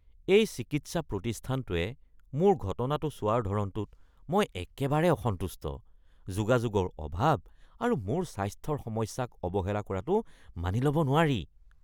এই চিকিৎসা প্ৰতিষ্ঠানটোৱে মোৰ ঘটনাটো চোৱাৰ ধৰণটোত মই একেবাৰে অসন্তুষ্ট। যোগাযোগৰ অভাৱ আৰু মোৰ স্বাস্থ্যৰ সমস্যাক অৱহেলা কৰাটো মানি ল'ব নোৱাৰি।